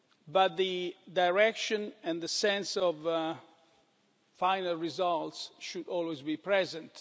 But the direction and the sense of final results should always be present.